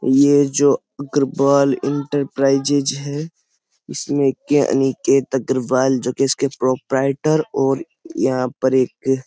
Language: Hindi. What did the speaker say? ये जो अग्रवाल इंटरप्राइजेस है इसमें के अनिकेत अग्रवाल जो कि इसके प्रोप्राइटर और यहाँ पर एक --